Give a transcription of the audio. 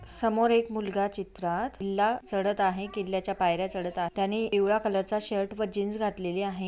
समोर एक मुलगा चित्रात किल्ला चढत आहे किल्ल्याच्या पायर्‍या चढत त्याने पिवळ्या कलरचा शर्ट व जीन्स घातलेली आहे.